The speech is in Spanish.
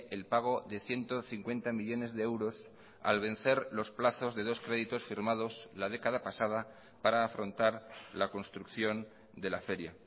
el pago de ciento cincuenta millónes de euros al vencer los plazos de dos créditos firmados la década pasada para afrontar la construcción de la feria